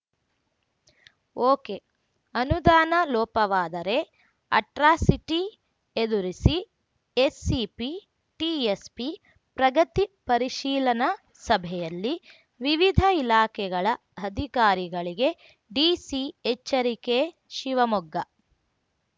ಒಕೆಅನುದಾನ ಲೋಪವಾದರೆ ಅಟ್ರಾಸಿಟಿ ಎದುರಿಸಿ SCP TSP ಪ್ರಗತಿ ಪರಿಶೀಲನಾ ಸಭೆಯಲ್ಲಿ ವಿವಿಧ ಇಲಾಖೆಗಳ ಅಧಿಕಾರಿಗಳಿಗೆ ಡಿಸಿ ಎಚ್ಚರಿಕೆ ಶಿವಮೊಗ್ಗ